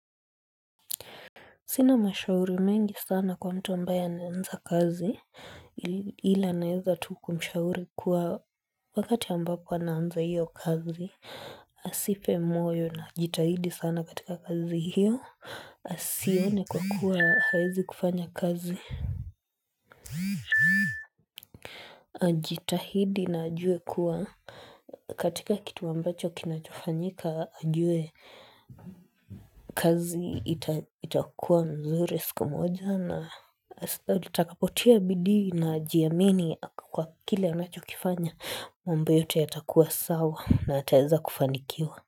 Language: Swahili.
Sina mashauri mengi sana kwa mtu ambaye anaanza kazi ila naeza tu kumshauri kuwa wakati ambapo anaanza hiyo kazi. Jipe moyo na jitahidi sana katika kazi hiyo. Sione kwa kuwa haezi kufanya kazi. Jitahidi na ajue kuwa katika kitu ambacho kinachofanyika ajue kazi itakua nzuri siku moja. Na sita utakapotia bidii na ujiamini kwa kile unachokifanya mambo yote yatakuwa sawa na yataweza kufanikiwa.